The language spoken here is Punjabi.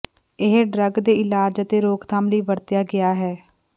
ਇਹ ਡਰੱਗ ਦੇ ਇਲਾਜ ਅਤੇ ਰੋਕਥਾਮ ਲਈ ਵਰਤਿਆ ਗਿਆ ਹੈ